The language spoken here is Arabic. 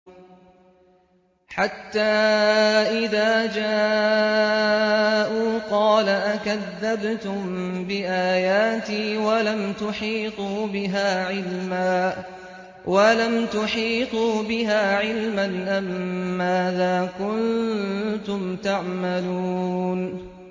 حَتَّىٰ إِذَا جَاءُوا قَالَ أَكَذَّبْتُم بِآيَاتِي وَلَمْ تُحِيطُوا بِهَا عِلْمًا أَمَّاذَا كُنتُمْ تَعْمَلُونَ